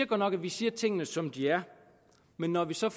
godt nok at vi siger tingene som de er men når vi så